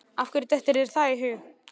Af hverju dettur þér það í hug?